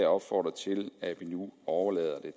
opfordre til at vi nu overlader